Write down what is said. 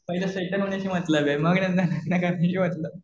पहिलं सेटल होण्याशी मतलब. मग नंतर लग्न करण्याशी मतलब.